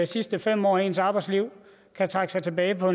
sidste fem år af ens arbejdsliv kan trække sig tilbage på